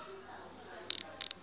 ne e se e fedile